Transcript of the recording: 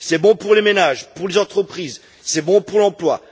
C'est bon pour les ménages, pour les entreprises, c'est bon pour l'emploi.